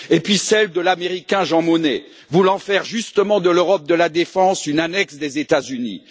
et puis, celle de l'Américain Jean Monnet, voulant faire justement de l'Europe de la défense une annexe des États Unis.